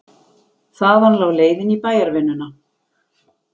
Þaðan lá leiðin í bæjarvinnuna.